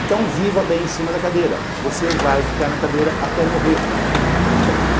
Então viva bem em cima da cadeira, você vai ficar na cadeira até morrer.